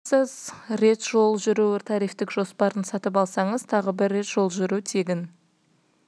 отыра аласыз рет жол жүру тарифтік жоспарын сатып алсаңыз тағы бір рет жол жүру тегін